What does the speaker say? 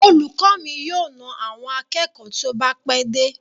Olùkọ mi yóò na àwọn akẹ́kọ̀ọ́ tí ó bá pẹ́ dé.